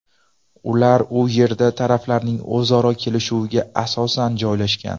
Ular u yerda taraflarning o‘zaro kelishuviga asosan joylashgan.